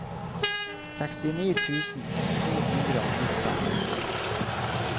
sekstini tusen to hundre og nitten